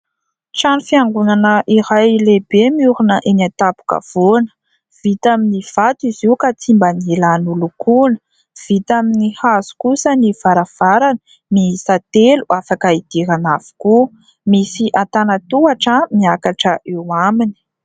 Trano fiangonana iray lehibe miorina eny an-tampon-kavoana. Vita amin'ny vato izy io ka tsy mba nila nolokoina. Vita amin'ny hazo kosa ny varavarana, miisa telo, afaka hidirana avokoa. Misy antanan-tohatra miakatra eo aminy.